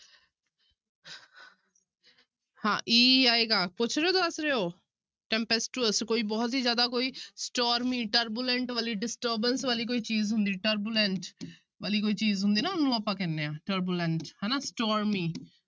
ਹਾਂ e ਹੀ ਆਏਗਾ ਪੁੱਛ ਰਹੇ ਹੋ, ਦੱਸ ਰਹੇ ਹੋ tempestuous ਕੋਈ ਬਹੁਤ ਹੀ ਜ਼ਿਆਦਾ ਕੋਈ turbulent ਵਾਲੀ disturbance ਵਾਲੀ ਕੋਈ ਚੀਜ਼ ਹੁੰਦੀ turbulent ਵਾਲੀ ਕੋਈ ਚੀਜ਼ ਹੁੰਦੀ ਨਾ ਉਹਨੂੰ ਆਪਾਂ ਕਹਿੰਦੇ ਹਾਂ turbulent ਹਨਾ